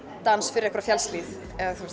dans fyrir einhverja fjallshlíð